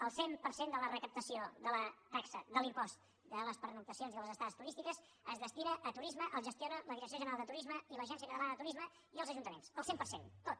el cent per cent de la recaptació de la taxa de l’impost de les pernoctacions i de les estades turístiques es destina a turisme el gestionen la direcció general de turisme i l’agència catalana de turisme i els ajuntaments el cent per cent tot